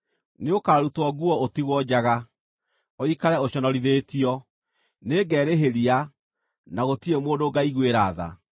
Nĩũkarutwo nguo ũtigwo njaga, ũikare ũconorithĩtio. Nĩngerĩhĩria, na gũtirĩ mũndũ ngaiguĩra tha.”